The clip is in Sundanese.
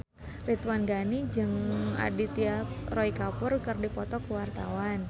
Ridwan Ghani jeung Aditya Roy Kapoor keur dipoto ku wartawan